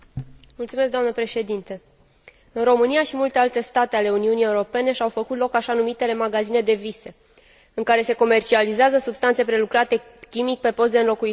În România și în multe alte state ale Uniunii Europene și au făcut loc așa numitele magazine de vise, în care se comercializează substanțe prelucrate chimic pe post de înlocuitor pentru droguri.